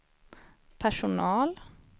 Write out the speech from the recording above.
personal